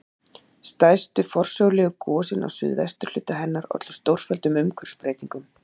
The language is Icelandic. Stærstu forsögulegu gosin á suðvesturhluta hennar ollu stórfelldum umhverfisbreytingum.